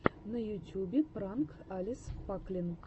на ютьюбе пранк алекс паклин